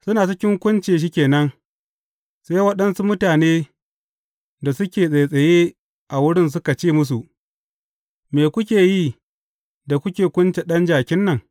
Suna cikin kunce shi ke nan, sai waɗansu mutane da suke tsattsaye a wurin suka ce musu, Me kuke yi da kuke kunce ɗan jakin nan?